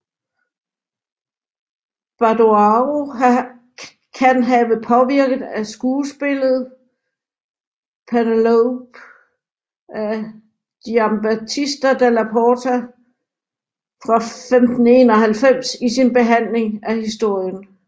Badoaro kan have påvirket af skuespillet Penelope af Giambattista Della Porta fra 1591 i sin behandling af historien